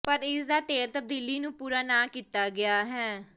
ਪਰ ਇਸ ਦਾ ਤੇਲ ਤਬਦੀਲੀ ਨੂੰ ਪੂਰਾ ਨਾ ਕੀਤਾ ਗਿਆ ਹੈ